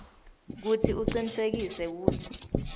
kutsi ucinisekise kutsi